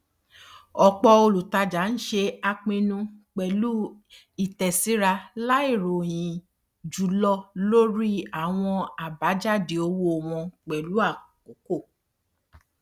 ọpọ olùtajà ń ṣe àpinnu pẹlú ìtẹsíra láì ròyìn jùlọ lórí àwọn abajade owó wọn pẹlú àkókò